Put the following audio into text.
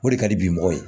O de ka di bi mɔgɔ ye